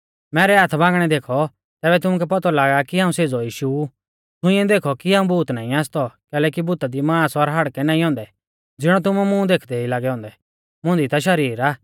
मैरै हाथ बांगणै देखौ तैबै तुमुकै पौतौ लागा कि हाऊं सेज़ौ यीशु ऊ छ़ुईंयौ देखौ कि हाऊं भूत नाईं आसतौ कैलैकि भूता दी मांस और हाड़कै नाईं औन्दै ज़िणौ तुमै मुं देखदै ई लागै औन्दै मुंदी ता शरीर आ